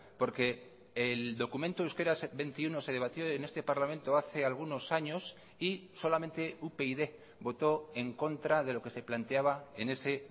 porque el documento euskera veintiuno se debatió en este parlamento hace algunos años y solamente upyd votó en contra de lo que se planteaba en ese